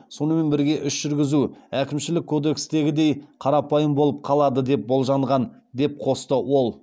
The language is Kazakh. сонымен бірге іс жүргізу әкімшілік кодекстегідей қарапайым болып қалады деп болжанған деп қосты ол